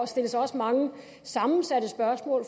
stilles også mange sammensatte spørgsmål